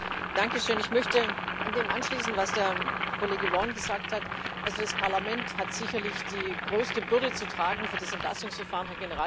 Herr Präsident! Ich möchte an das anschließen, was der Kollege Vaughan gesagt hat. Also das Parlament hat sicherlich die größte Bürde zu tragen für das Entlastungsverfahren.